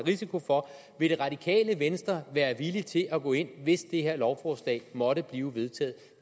risiko for vil det radikale venstre være villig til at gå ind hvis det her lovforslag måtte blive vedtaget